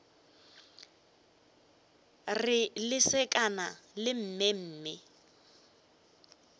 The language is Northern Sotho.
re lesekana la mme mme